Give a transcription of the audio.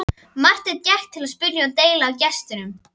Marteinn gekk til og spurði deili á gestinum.